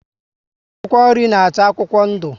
Akwụkwọ nri na acha akwụkwọ ndu